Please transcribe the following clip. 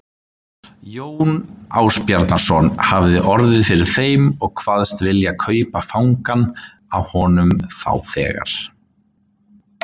Jón Ásbjarnarson hafði orð fyrir þeim og kvaðst vilja kaupa fangann af honum þá þegar.